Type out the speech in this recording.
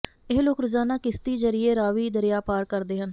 ਇਹ ਲੋਕ ਰੋਜ਼ਾਨਾ ਕਿਸ਼ਤੀ ਜ਼ਰੀਏ ਰਾਵੀ ਦਰਿਆ ਪਾਰ ਕਰਦੇ ਹਨ